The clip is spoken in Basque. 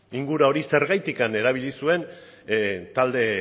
inguru hori zergatik erabili zuen talde